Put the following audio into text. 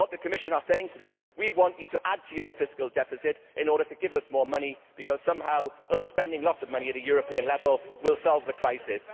What the Commission is saying to them is We want you to add to your fiscal deficit in order to give us more money because somehow our spending lots of money at a European level will solve the crisis.'